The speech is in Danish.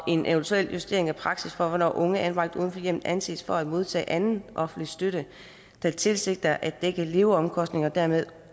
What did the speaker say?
en eventuel justering af praksis for hvornår unge anbragt uden for hjemmet anses for at modtage anden offentlig støtte der tilsigter at dække leveomkostningerne dermed